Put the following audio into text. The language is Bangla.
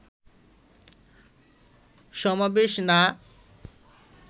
সমাবেশ না